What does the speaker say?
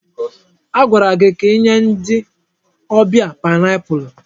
Agwara gị ka inye ndị ọbịa paịnapụlụ!